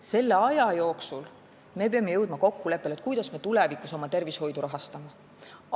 Selle aja jooksul me peame jõudma kokkuleppele, kuidas me tulevikus oma tervishoidu rahastame.